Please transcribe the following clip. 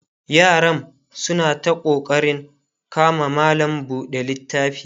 yaram suna ta ƙoƙarin kama malam buɗe littafi